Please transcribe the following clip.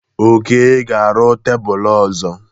Oke ga-arụ tebụl ọzọ.